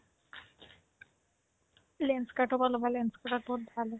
লেন্স্কাৰ্তৰ পৰা ল'বা লেন্স্কাৰ্তত বহুত ভাল হয়